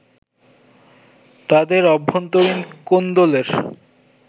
তাদের অভ্যন্তরীণ কোন্দলের